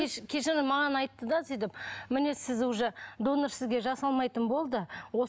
кешіріңіз маған айтты да сөйтіп міне сіз уже донор сізге жасалмайтын болды